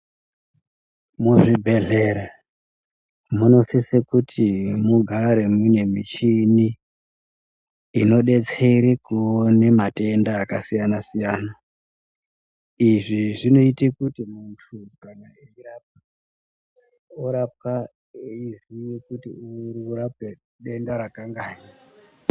Muzvibhedhlere munosisa kuti mugare mune michini inobetsere kuone matenda akasiyana-siyana. Izvi zvinoite kuti muntu kana eirapwa orapwa eiziye kuti uri kurapwe denda rakangai.